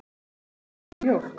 Gísli: Fékkstu mjólk?